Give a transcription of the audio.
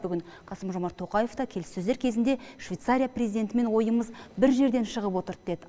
бүгін қасым жомарт тоқаев та келіссөздер кезінде швейцария президентімен ойымыз бір жерден шығып отырды деді